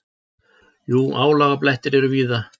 Jú, álagablettir eru víða.